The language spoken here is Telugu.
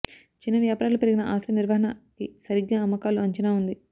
చిన్న వ్యాపారాలు పెరిగిన ఆస్తి నిర్వహణ కీ సరిగ్గా అమ్మకాలు అంచనా ఉంది